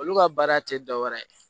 Olu ka baara tɛ dɔwɛrɛ ye